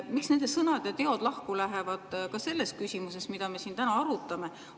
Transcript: Miks nende sõnad ja teod lähevad lahku ka selles küsimuses, mida me siin täna arutame?